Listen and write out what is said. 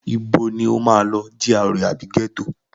Ibo ni o máa lọ, GRA àbí ghetto?